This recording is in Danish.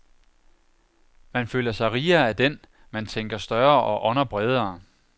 Man føler sig rigere af den, man tænker større og ånder bredere.